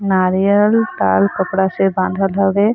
नारियल लाल कपड़ा से बांधल हवे।